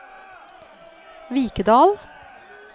Vikedal